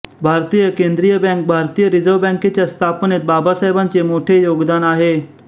भारताची केंद्रिय बँक भारतीय रिझर्व बँकेच्या स्थापनेत बाबासाहेबांचे मोठे योगदान आहे